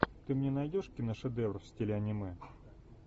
ты мне найдешь киношедевр в стиле аниме